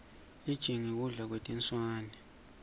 lijingi kudla kwetinswane